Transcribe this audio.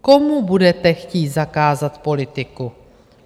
Komu budete chtít zakázat politiku?